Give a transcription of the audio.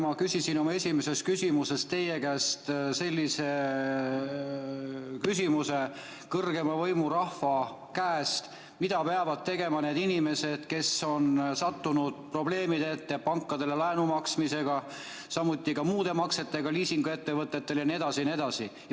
Ma küsisin oma esimeses küsimuses teie käest kõrgeima võimu, rahva kohta, et mida peavad tegema need inimesed, kes on sattunud probleemidesse pankadele laenu tagasi maksmisel, samuti muude maksete tasumisel liisinguettevõtetele.